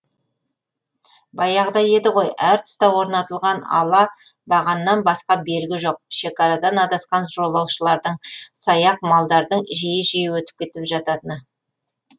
баяғыда еді ғой әр тұсқа орнатылған ала бағаннан басқа белгі жоқ шекарадан адасқан жолаушылардың саяқ малдардың жиі жиі өтіп кетіп жататыны